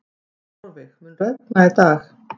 Þórveig, mun rigna í dag?